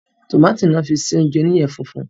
Tómátì ni wọ́n fi sí oúnjẹ oníyẹ funfun